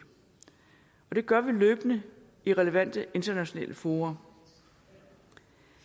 og det gør vi løbende i relevante internationale fora